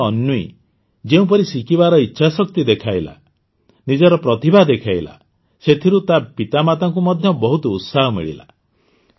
ଝିଅ ଅନ୍ୱୀ ଯେଉଁପରି ଶିଖିବାର ଇଚ୍ଛାଶକ୍ତି ଦେଖାଇଲା ନିଜର ପ୍ରତିଭା ଦେଖାଇଲା ସେଥିରୁ ତା ମାତାପିତାଙ୍କୁ ମଧ୍ୟ ବହୁତ ଉତ୍ସାହ ମିଳିଲା